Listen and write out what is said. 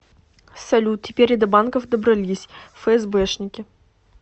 салют теперь и до банков добрались фээсбэшники